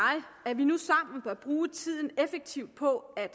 at vi nu sammen bør bruge tiden effektivt på at